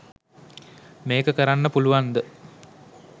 මෙක කරන්න පුලුවන්ද